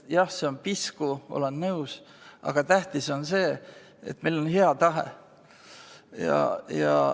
Jah, see on pisku, olen nõus, aga tähtis on see, et meil on hea tahe.